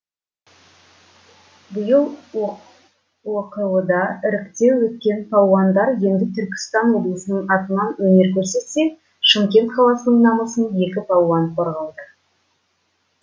биыл оқо да іріктеу өткен палуандар енді түркістан облысының атынан өнер көрсетсе шымкент қаласының намысын екі палуан қорғауда